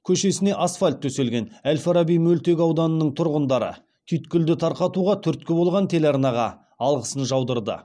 көшесіне асфальт төселген әл фараби мөлтек ауданының тұрғындары түйткілді тарқатуға түрткі болған телеарнаға алғысын жаудырды